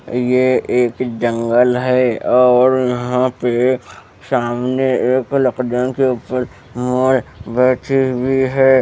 यह एक जंगल है और यहां पे सामने एक लकदन के ऊपर मोर बैठी हुई है।